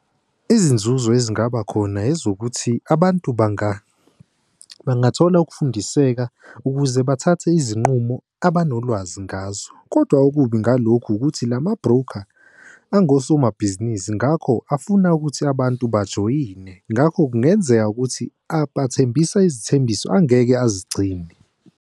Izinzuzo ezingaba khona ezokuthi abantu bangathola ukufundiseka ukuze bathathe izinqumo abanolwazi ngazo. Kodwa okubi ngalokhu ukuthi lama-broker angosomabhizinisi ngakho afuna ukuthi abantu bajoyine. Ngakho kungenzeka ukuthi abathembisa izithembiso angeke bazigcine.